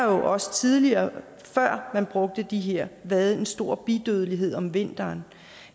også tidligere før man brugte det her været en stor bidødelighed om vinteren